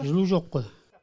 жылу жоқ қой